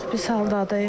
Çox pis haldadır.